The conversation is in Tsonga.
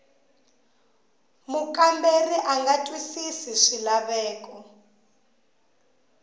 mukamberiwa a nga twisisi swilaveko